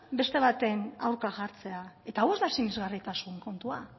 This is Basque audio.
beste baten aurka jartzea eta hau ez da sinisgarritasun kontua